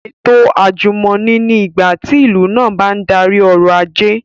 Ètò àjùmọ̀ní ni ìgbàtí tí ìlú náà bá n darí ọrọ̀ ajé